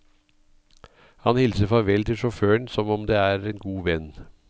Han hilser farvel til sjåføren som om det er en god venn.